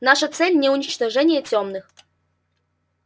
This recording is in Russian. наша цель не уничтожение тёмных